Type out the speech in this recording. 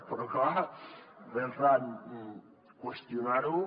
però clar també van qüestionar ho